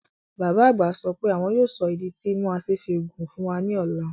Bàbá àgbà sọ pé àwọn yóò sọ ìdí tí imú asín fi gùn fún wa ní ọ̀la